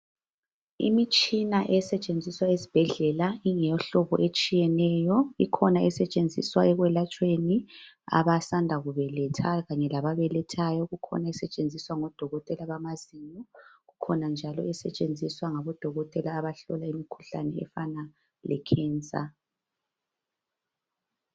imitshina esetshenziswa esibhedlela ilemhlobo etshiyeneyo ikhona esetshensiswa ekuyelapheni ababelethayo labasanda kubeletha kukhona esetshenziswa ngabo dokotela bamazinyo kukhona njalo esetshenziswa ngabodokotela abahlola imikhuhlane efana cancer